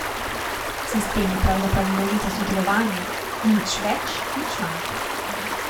Sistem je pravzaprav množica sodelovanja, nič več, nič manj.